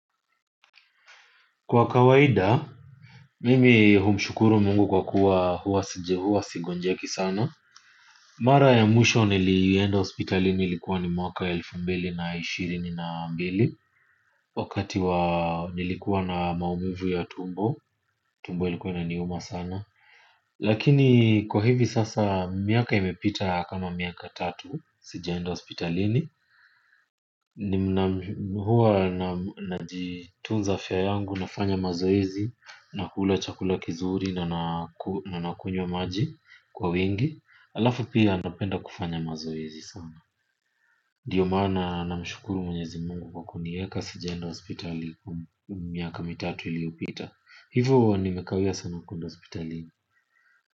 Kwa kawaida mimi humshukuru mungu kwa kuwa huwa siji huwa sigonjeki sana mara ya mwisho niliyenda hospitali ni ilikuwa ni mwaka elfu mbili na ishirini na mbili wakati wa nilikuwa na maumivu ya tumbo tumbo ilikuwa inaniuma sana lakini kwa hivi sasa miaka imepita kama miaka tatu sijaenda hospitalini nina huwa na najitunza afya yangu nafanya mazoezi na hula chakula kizuri na nakunywa maji kwa wingi alafu pia napenda kufanya mazoezi sana ndiyo maana na mshukuru mwenyezi mungu kwa kunieka sijaenda hospitali miaka mitatu iliopita hivo nimekawia sana kuenda hospitalini.